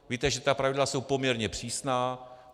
Víte, že ta pravidla jsou poměrně přísná.